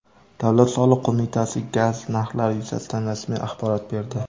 Davlat soliq qo‘mitasi gaz narxlari yuzasidan rasmiy axborot berdi.